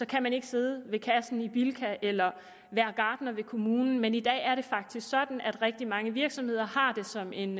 kan man ikke sidde ved kassen i bilka eller være gartner ved kommunen men i dag er det faktisk sådan at rigtig mange virksomheder har det som en